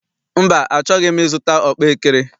Mba, achọghị m I zụta ọkpaekere.